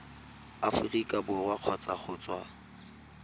aforika borwa kgotsa go tswa